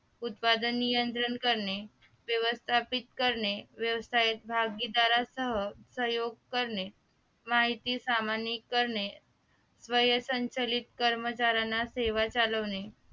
उत्पादन नियंत्रण करणे व्यवस्थापित करणे व्यवसायात भागीदारासह प्रयोग करणे माहिती करणे संचलित कर्मचाऱ्यांना सेवा चालवणे